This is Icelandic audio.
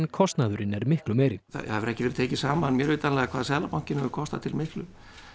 kostnaðurinn er miklu meiri það hefur ekki verið tekið saman mér vitanlega hvað Seðlabankinn hefur kostað til miklu